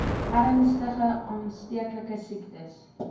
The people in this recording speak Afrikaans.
ernstige aansteeklike siektes